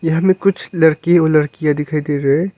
यहां में कुछ लड़के और लड़कियां दिखाई दे रहा है।